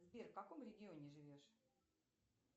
сбер в каком регионе живешь